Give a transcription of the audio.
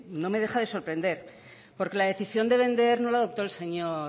no me deja de sorprender porque la decisión de vender no la adoptó el señor